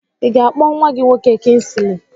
I ga-akpọ nwa gị nwoke Kinsili?